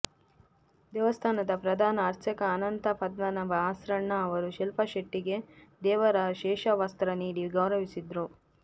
ದೇವಸ್ಥಾನದ ಪ್ರಧಾನ ಅರ್ಚಕ ಅನಂತ ಪದ್ಮನಾಭ ಆಸ್ರಣ್ಣ ಅವರು ಶಿಲ್ಪಾ ಶೆಟ್ಟಿ ಗೆ ದೇವರ ಶೇಷವಸ್ತ್ರ ನೀಡಿ ಗೌರವಿಸಿದ್ರು